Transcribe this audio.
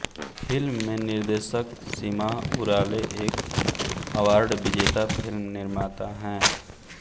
film में निर्देशक Sima Urale एक अवार्ड विजेता फिल्म निर्माता हैं